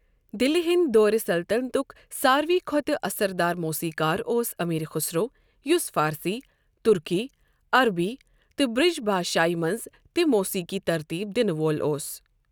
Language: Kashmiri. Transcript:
دِلہِ ہِنٛدِ دورِ سلطَنَتُک سارِوٕے کھۄتہٕ اثر دار موسیٖقار اوس أمیٖر خُسرو، یُس فارسی، تُرکی، عربی تہٕ برٛج بھاشایہ منٛز تہِ موسیٖقی ترتیٖب دِنہٕ وول اوس۔